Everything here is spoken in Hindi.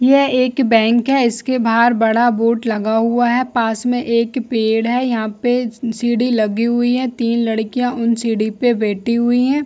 यह एक बैंक है इसके बाहर बड़ा बोर्ड लगा हुआ है पास में एक पेड़ है यहाँ पे सीढ़ी लगी हुई है तीन लड़कियाँ उन सीढ़ी पे बैठी हुई है।